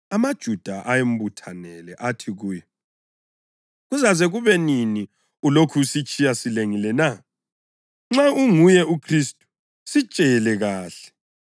AmaJuda ayembuthanele athi kuye, “Kuzaze kube nini ulokhu usitshiya silengile na? Nxa unguye uKhristu, sitshele kuhle.”